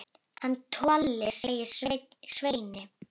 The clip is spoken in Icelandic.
Hann Tolli, sagði Svenni.